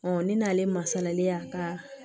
ne n'ale masalalen y'a ka